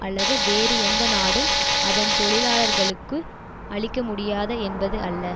அல்லது வேறு எந்த நாடும் அதன் தொழிலாளர்களுக்கு அளிக்க முடியாது என்பது அல்ல